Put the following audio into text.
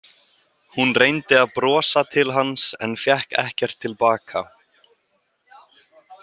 Hún reyndi að brosa til hans en fékk ekkert til baka.